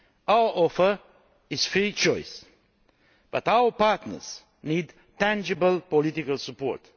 Our offer is free choice, but our partners need tangible political support.